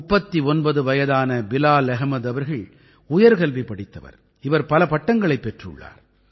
39 வயதான பிலால் அஹ்மத் அவர்கள் உயர்கல்வி படித்தவர் இவர் பல பட்டங்களைப் பெற்றுள்ளார்